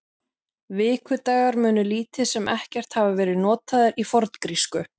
Vikudagar munu lítið sem ekkert hafa verið notaðir í forngrísku.